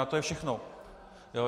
A to je všechno.